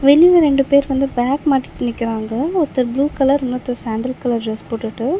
வெளில ரெண்டு பேர் வந்து பேக் மாட்டிட்டு நிக்றாங்க ஒருத்தர் ப்ளூ கலர் இன்னொருத்தர் சாண்டல் கலர் டிரஸ் போட்டுட்டு.